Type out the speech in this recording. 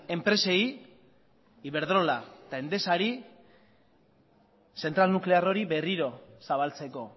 enpresei iberdrola eta endesari zentral nuklear hori berriro zabaltzeko